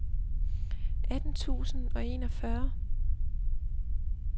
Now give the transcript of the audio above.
atten tusind og enogfyrre